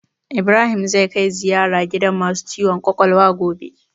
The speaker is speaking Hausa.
Ibrahim zai kai ziyara gidan masu ciwon kwakwalwa gobe